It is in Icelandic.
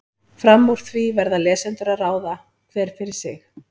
Fram úr því verða lesendur að ráða, hver fyrir sig.